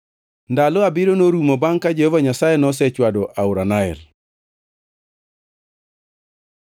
Ndalo abiriyo norumo bangʼ ka Jehova Nyasaye nosechwado aora Nael.